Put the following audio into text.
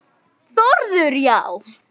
Þórður: Já?